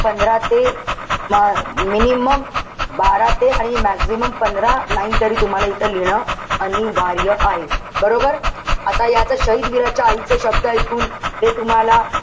पंधरा ते minimum बारा ते आणि maximum पंधरा line तरी तुम्हाला इथं लिहिणं अनिवार्य आहे. बरोबर? आता यात शाहिद वीराच्या आईचे शब्द इकून, ते तुम्हाला,